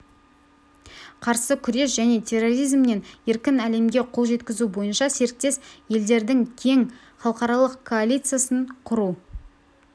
қарсы күрес және терроризмнен еркін әлемге қол жеткізу бойынша серіктес елдердің кең халықаралық коалициясын құру